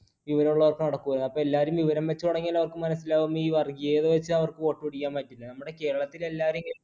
വിവരമുള്ളവർക്ക് നടക്കൂല, അപ്പൊ എല്ലാവരും വിവരം വച്ചു തുടങ്ങിയാൽ അവർക്ക് മനസ്സിലാവും ഈ വർഗീയത വെച്ച് അവർക്ക് vote പിടിക്കാൻ പറ്റില്ല. നമ്മുടെ Kerala ത്തിൽ എല്ലാവരും